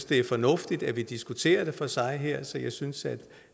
det er fornuftigt at vi diskuterer det for sig her så jeg synes